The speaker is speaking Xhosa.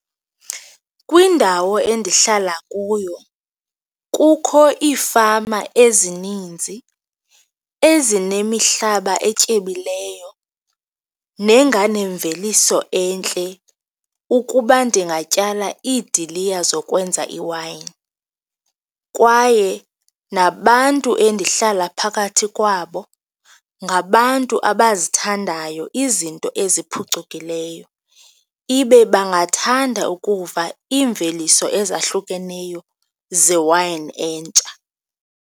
Kwindawo endihlala kuyo kukho iifama ezininzi ezinemihlaba etyebileyo nenganemveliso entle ukuba ndingatyala idiliya zokwenza iwayini, kwaye nabantu endihlala phakathi kwabo ngabantu abazithandayo izinto eziphucukileyo, ibe bangathanda ukuva iimveliso ezahlukeneyo zewayini entsha.